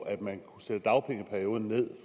at man kunne sætte dagpengeperioden ned